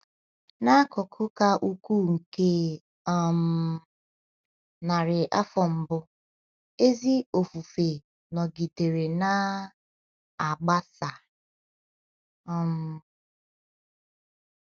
N’akụkụ ka ukwuu nke um narị afọ mbụ, ezi ofufe nọgidere na -- agbasa um.